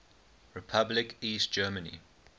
republic east germany